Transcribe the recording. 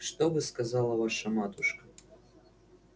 что бы сказала ваша матушка